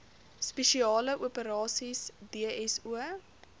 spesiale operasies dso